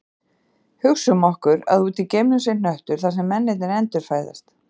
Hugsum okkur að úti í geimnum sé hnöttur þar sem mennirnir endurfæðast